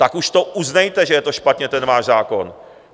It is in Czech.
Tak už to uznejte, že je to špatně, ten váš zákon.